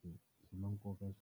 Swi na nkoka .